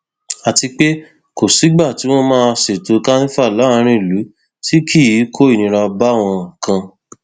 àti pé kò sígbà tí wọn máa ṣètò kanifa láàrin ìlú tí kì í kó ìnira báwọn kan